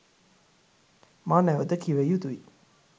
මා නැවත කිව යුතුයි.